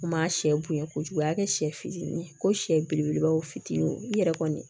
Ma sɛ bonya kojugu i y'a kɛ sɛ fitinin ye ko siyɛ belebelebaw fitinin i yɛrɛ kɔni